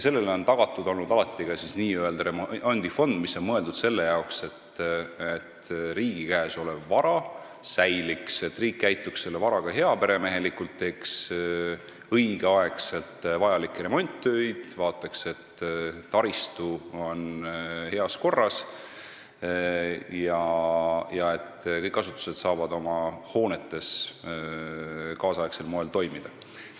Sellele on alati tagatud olnud ka n-ö remondifond, mis on mõeldud selle jaoks, et riigi käes olev vara säiliks, riik käituks selle varaga heaperemehelikult, teeks õigel ajal vajalikke remonditöid, vaataks, et taristu oleks heas korras ja kõik asutused saaksid oma hoonetes tänapäevasel moel toimida.